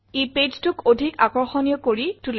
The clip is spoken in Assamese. ই pageটোক অধিক আকৰ্ষণীয় কৰি তোলে